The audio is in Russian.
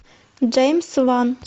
джеймс ван